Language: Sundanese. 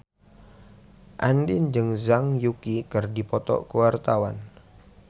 Andien jeung Zhang Yuqi keur dipoto ku wartawan